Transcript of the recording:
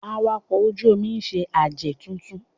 Awakọ̀ ojú-omi ń ṣe àjẹ̀ tuntun